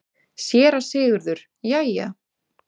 SÉRA SIGURÐUR: Jæja!